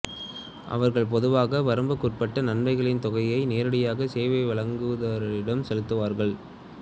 அவர்கள் பொதுவாக வரம்புக்குட்பட்ட நன்மைகளின் தொகையை நேரடியாக சேவை வழங்குநரிடம் செலுத்துவார்கள்